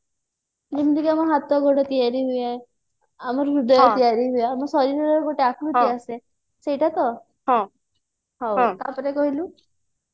ଯେମିତିକି ଆମ ହାତ ଗୋଡ ତିଆରି ହୁଏ ଆମ ହୃଦୟ ତିଆରି ହୁଏ ଆମ ଶରୀରରେ ଗୋଟେ ଆକୃତି ଆସେ ସେଇଟା ତ